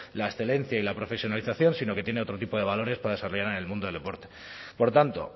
la excelencia y la profesionalización sino que tiene otro tipo de valores para desarrollar en el mundo del deporte por tanto